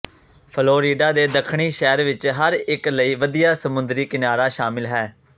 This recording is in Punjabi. ਫਲੋਰੀਡਾ ਦੇ ਦੱਖਣੀ ਸ਼ਹਿਰ ਵਿੱਚ ਹਰ ਇੱਕ ਲਈ ਵਧੀਆ ਸਮੁੰਦਰੀ ਕਿਨਾਰਾ ਸ਼ਾਮਲ ਹੈ